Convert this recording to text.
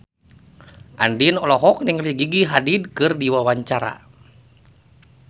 Andien olohok ningali Gigi Hadid keur diwawancara